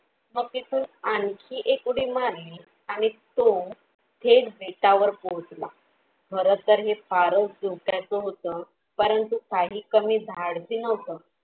मग तिथून आणखी एक उडी मारली आणि तो थेट बेटा वर पोहोचला बरं तर हे फारच धोक्या चं होतं परंतु काही कमी धाडसी नव्हत